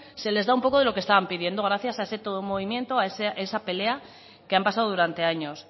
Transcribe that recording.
se les da un poco de lo que estaban pidiendo gracias a ese todo movimiento a esa pelea que han pasado durante años